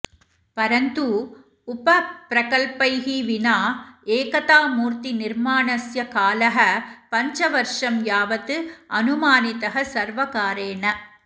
परन्तु उपप्रकल्पैः विना एकतामूर्तिनिर्माणस्य कालः पञ्चवर्षं यावत् अनुमानितः सर्वकारेण